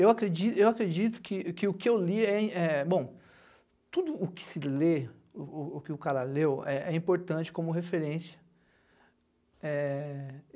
Eu acredi acredito que o que eu li é é... Bom, tudo o que se lê, o o oque o cara leu, é importante como referência. É